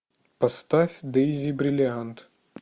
поставь дейзи бриллиант